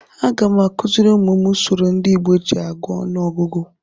Agam akuziri umum m usoro ndị Igbo ji agụ ọnụọgụgụ.